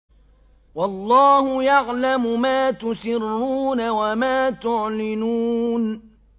وَاللَّهُ يَعْلَمُ مَا تُسِرُّونَ وَمَا تُعْلِنُونَ